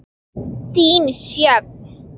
Þín, Sjöfn.